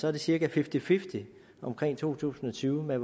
er det cirka fifty fifty i to tusind og tyve med